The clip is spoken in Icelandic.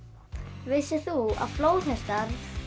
vissir þú að flóðhestar